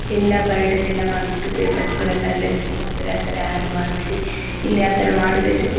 ಇಲ್ಲ ಬರ್ಡ್ ದೆಲ್ಲ ಮಾಡ್ಬಿಟ್ಟು ಪೇಪರ್ಸ್ ಗಳೆಲ್ಲ ಅಲ್ಲೇ ಬಿಸಾಕಿ ಬರ್ತಾರೆ. ಆತರಾ ಯಾರು ಮಾಡಬೇಡಿ.ಇಲ್ಲಿ ಆ ತರ ಮಾಡಿದರೆ ಎಷ್ಟೋ ಕ್ಲೀ --